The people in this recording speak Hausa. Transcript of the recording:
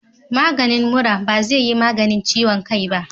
Maganin mura bazeyi maganin ciwon kai ba